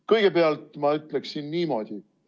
Kõigepealt ma ütleksin niimoodi.